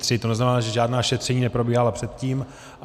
To znamená, že žádná šetření neprobíhala předtím.